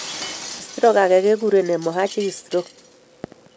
Stroke age keguren hemorrhagic stroke